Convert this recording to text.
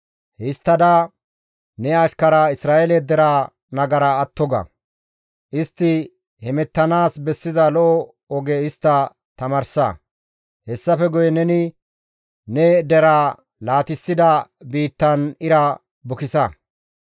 Histtada ne ashkara Isra7eele deraa nagara atto ga; istti hemettanaas bessiza lo7o oge istta tamaarsa; hessafe guye neni ne deraa laatissida biittan ira bukisa.